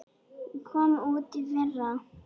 Hún kom út í fyrra.